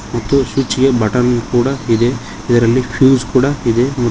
ಮತ್ತು ಸ್ವಿಚ್ ಗೆ ಬಟನ್ ಕೂಡ ಇದೆ ಇದರಲ್ಲಿ ಫ್ಯೂಸ್ ಕೂಡ ಇದೆ ಮತ್ತು--